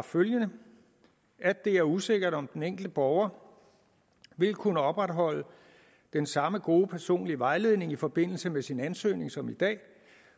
følgende det er usikkert om den enkelte borger vil kunne opretholde den samme gode personlige vejledning i forbindelse med sin ansøgning som i dag